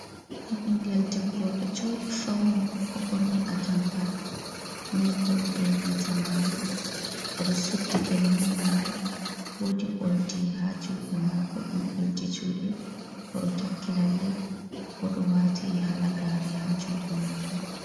Ɓingel debbo, oɗon jooɗi fawni, o ɓorni atampa mil kolo benanta marum, oɗo suddi gele marum, woodi oldi ha juɗe mako ɗum oldi juɗe, oɗo takki lalle oɗo waati halagare ha juɗe mako.